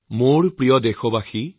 মোৰ শ্ৰদ্ধাৰ দেশবাসী